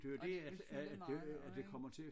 Og det vil fylde meget også ik